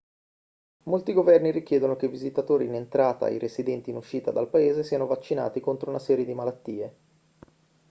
molti governi richiedono che i visitatori in entrata e i residenti in uscita dal paese siano vaccinati contro una serie di malattie